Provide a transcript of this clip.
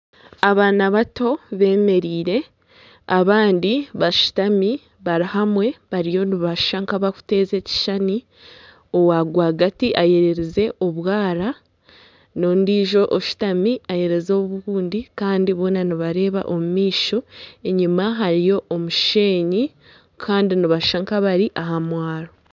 Abaana bato bemereire abandi bashutami bari hamwe bariyo nibashusha nka abakuteeza ekishushani owa rwagati ayereize obukuumu n'ondijo oshutami ayereize obundi kandi boona nibareeba omumaisho enyima hariyo omushenyi kandi nibashusha nka abari aha mwaaro.